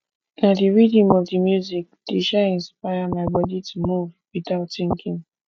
na the rhythm of the music dey um inspire my body to move without thinking